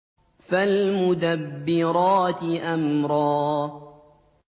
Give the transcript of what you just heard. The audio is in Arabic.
فَالْمُدَبِّرَاتِ أَمْرًا